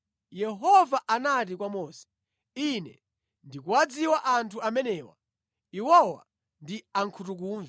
Yehova anati kwa Mose, “Ine ndikuwadziwa anthu amenewa. Iwowa ndi ankhutukumve.